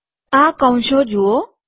આ કૌંસો જુઓ